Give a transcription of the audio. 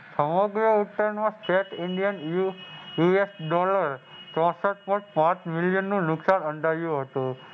સવા બે Indian US dollar ચોસઠ Point પાંચ મિલિયનનું નુકસાન નોંધાયું હતું.